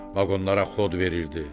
Vaqonlara xod verirdi.